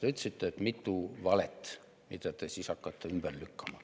Te ütlesite, et on mitu valet, mida te hakkate ümber lükkama.